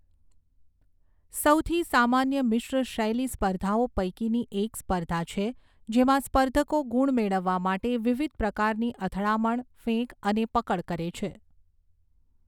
સૌથી સામાન્ય મિશ્ર શૈલી સ્પર્ધાઓ પૈકીની એક સ્પર્ધા છે, જેમાં સ્પર્ધકો ગુણ મેળવવા માટે વિવિધ પ્રકારની અથડામણ, ફેંક અને પકડ કરે છે.